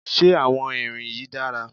Ṣé àwọn irin yìí dára?